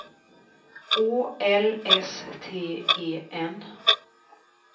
Å L S T E N